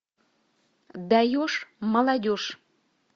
даешь молодежь